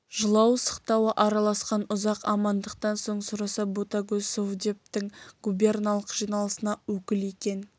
жылау-сықтауы араласқан ұзақ амандықтан соң сұраса ботагөз совдептің губерналық жиналысына өкіл екен